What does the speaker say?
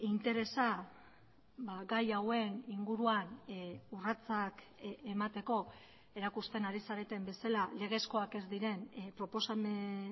interesa gai hauen inguruan urratsak emateko erakusten ari zareten bezala legezkoak ez diren proposamen